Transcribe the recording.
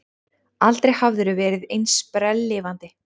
Aldrei hafðirðu verið eins sprelllifandi.